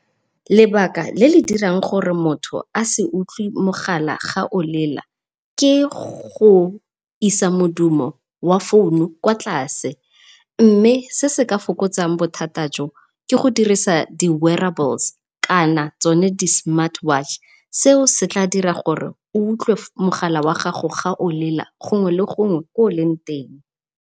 Lebaka le le dirang gore motho a se utlwe mogala fa olela, ke go isa modumo wa founu kwa tlase mme se se ka fokotsang bothata jo ke go dirisa di wearables kana tsona di smart watch. Se setla dira gore o utlwe mogala wa gago ga o lela gongwe le gongwe ko oleng teng.